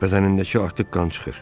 Bədənindəki artıq qan çıxır.